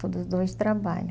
Todos os dois trabalha.